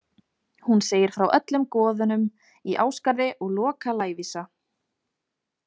Hún segir frá öllum goðunum í Ásgarði og Loka lævísa.